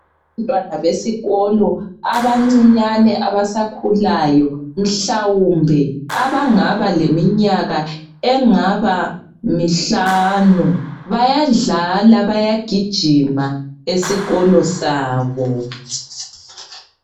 Abantwana besikolo abancinyane abasakhulayo mhlawumbe abangaba leminyaka engaba mihlanu bayadlala baya gijima esikolo sabo.